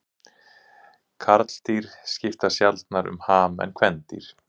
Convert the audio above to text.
Karldýr skipta sjaldnar um ham en kvendýr.